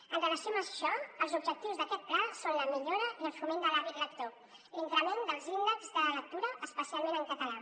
en relació amb això els objectius d’aquest pla són la millora i el foment de l’hàbit lector l’increment dels índexs de lectura especialment en català